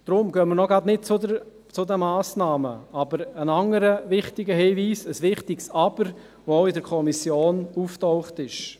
Deshalb gehen wir noch nicht gleich zu den Massnahmen über, aber es gibt einen anderen wichtigen Hinweis, ein wichtiges Aber, das auch in der Kommission aufgetaucht ist.